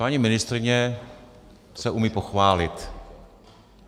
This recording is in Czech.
Paní ministryně se umí pochválit.